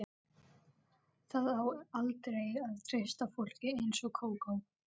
Það á aldrei að treysta fólki eins og Kókó.